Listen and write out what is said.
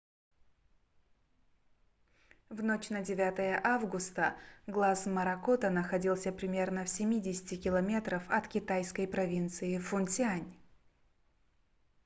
в ночь на 9 августа глаз моракота находился примерно в семидесяти километрах от китайской провинции фуцзянь